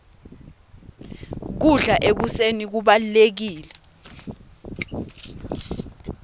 kudla ekuseni kubalulekile